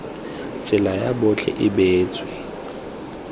tsela ya botlhe e beetswe